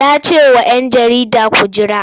Ya ce wa ‘yan jarida ku jira!